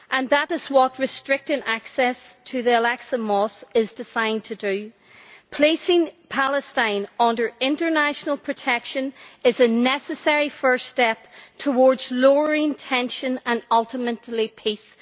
That is what restricting access to the Al Aqsa Mosque is designed to do. Placing Palestine under international protection is a necessary first step towards lowering tension and ultimately peace.